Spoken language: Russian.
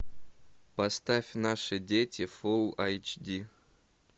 поставь наши дети фул эйч ди